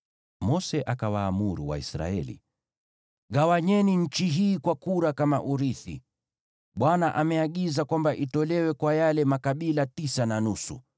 Mose akawaamuru Waisraeli: “Gawanyeni nchi hii kwa kura kama urithi. Bwana ameagiza kwamba itolewe kwa yale makabila tisa na nusu,